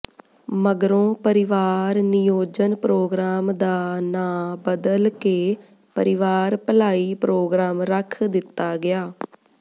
ਮਗਰੋਂ ਪਰਿਵਾਰ ਨਿਯੋਜਨ ਪ੍ਰੋਗਰਾਮ ਦਾ ਨਾਂ ਬਦਲ ਕੇ ਪਰਿਵਾਰ ਭਲਾਈ ਪ੍ਰੋਗਰਾਮ ਰੱਖ ਦਿੱਤਾ ਗਿਆ